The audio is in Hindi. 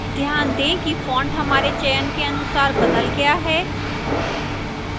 ध्यान दें कि font हमारे चयन के अनुसार बदल गया है